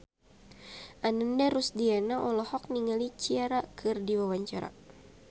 Ananda Rusdiana olohok ningali Ciara keur diwawancara